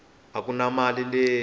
a ku na mali leyi